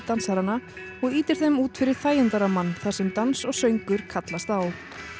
dansarana og ýtir þeim út fyrir þægindarammann þar sem dans og söngur kallast á